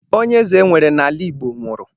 Onye eze enwere n'ala Igbo nwuru